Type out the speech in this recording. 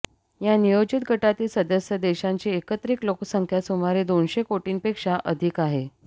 या नियोजित गटातील सदस्य देशांची एकत्रित लोकसंख्या सुमारे दोनशे कोटींपेक्षा अधिक आहे